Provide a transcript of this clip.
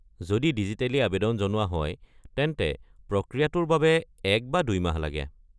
যদি ডিজিটেলী আৱেদন জনোৱা হয় তেন্তে প্ৰক্ৰিয়াটোৰ বাবে এক বা দুই মাহ লাগে।